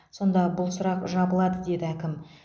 сонда бұл сұрақ жабылады деді әкім